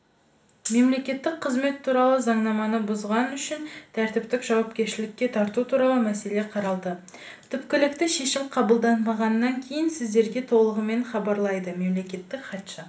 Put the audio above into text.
мемлекеттік қызмет туралы заңнаманы бұзғаны үшін тәртіптік жауапкершілікке тарту туралы мәселе қаралды түпкілікті шешім қабылданғаннан кейін сіздерге толығымен хабарлайды мемлекеттік хатшы